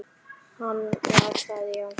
Hann var það, já.